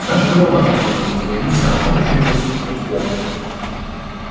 даже голова закружилась но ему всё равно приходилось смотреть в оба